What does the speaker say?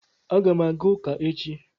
Aga m aga uka echi